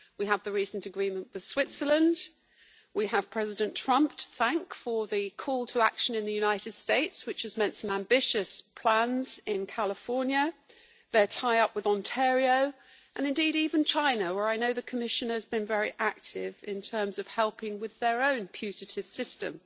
We have the recent agreement with Switzerland, we have President Trump to thank for the call to action in the United States, which has meant some ambitious plans in California and their tie-up with Ontario, and indeed even movement in China, where I know the Commission has been very active in terms of helping with their own putative system.